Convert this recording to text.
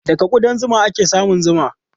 Daga kuɗan zuma ake samun zuma.